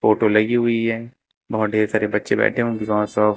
photo लगी हुई है बहुत ढ़ेर सारे बच्चे बैठे हैं